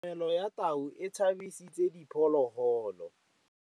Katamêlô ya tau e tshabisitse diphôlôgôlô.